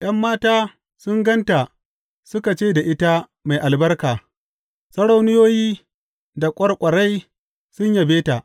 ’Yan mata sun gan ta suka ce da ita mai albarka; sarauniyoyi da ƙwarƙwarai sun yabe ta.